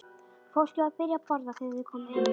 Fólkið var byrjað að borða þegar þeir komu inn.